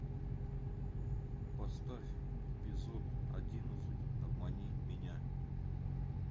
поставь эпизод одиннадцать обмани меня